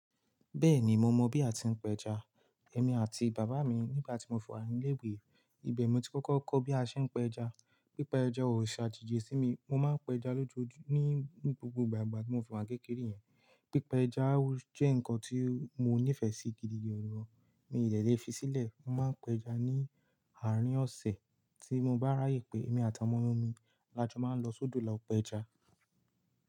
Bẹ́ẹ̀ni, mo mọ̀ bí a ti ń pẹja. Ẹ̀mi àti bàbá mi nígbà tí mo fi wa ni ilé ìwé, ibẹ̀ ni mo ti kọ́kọ́ kọ́ bí a ṣe ń pe ẹja. Pípa ẹja ò ṣe àjeji sí mi, mo máa ń pa ẹja lójoojúmọ́ ní gbogbo ìgbà igba tí mo fi ìwà kékeré yen. Pípa ẹja jẹ́ nǹkan tí mo nífẹ̀ẹ́ sí gidi gan-an, mi ò dé le fi sílẹ̀. Mo máa ń pe ẹja ní àárín ọ̀sẹ̀, tí mo bá ráyè pé èmi àti ọmọ mi lájọ máa ń lọ sódò lọ pe ẹja.